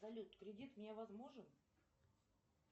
салют кредит мне возможен